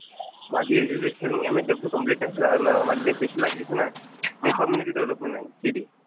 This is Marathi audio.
माझी एड्युकेशन, मी एमएसडब्ल्यू कम्प्लिट आहे आन माझं जे स्पेशलायझेशन आहे ते कम्युनिटी डेव्हलपमेंट आहे, सिडी.